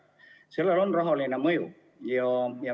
Sellel on rahaline mõju.